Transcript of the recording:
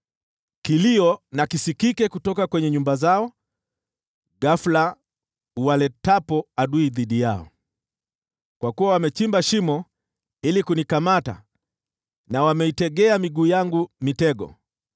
Kilio na kisikike kutoka kwenye nyumba zao ghafula uwaletapo adui dhidi yao, kwa kuwa wamechimba shimo ili kunikamata na wameitegea miguu yangu mitego.